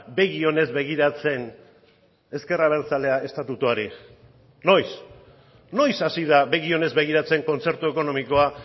begionez begiratzen ezker abertzalea estatutuari noiz noiz hasi da begionez begiratzen kontzertu ekonomikoa